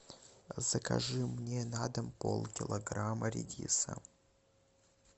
закажи мне на дом полкилограмма редиса